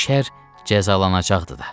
Şər cəzalanacaqdır da.